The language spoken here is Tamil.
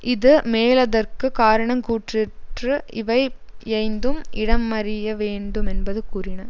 இது மேலதற்கு காரணங் கூற்றிற்று இவை யைந்தும் இடமறியவேண்டு மென்பது கூறின